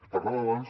es parlava abans